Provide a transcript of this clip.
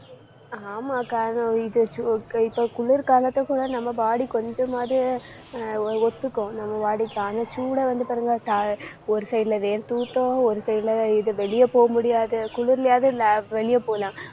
ஆமாக்கா இதை இதை இதை இப்ப குளிர்காலத்துல கூட நம்ம body கொஞ்சமாவது ஆஹ் ஒ~ ஒத்துக்கும் நம்ம body தான நம்ம சூடா வந்து பாருங்க த~ ஒரு side ல வேர்த்தூத்தும் ஒரு side ல இது வெளிய போக முடியாது. குளிர்லயாவது வெளிய போலாம்.